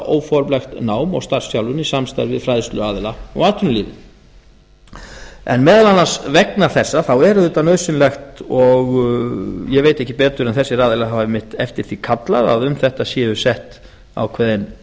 óformlegt nám og starfsþjálfun í samstarfi við fræðsluaðila og atvinnulífið meðal annars vegna þess er auðvitað nauðsynlegt og ég veit ekki betur en þessir aðilar hafi einmitt eftir því kallað að um átt séu sett ákveðin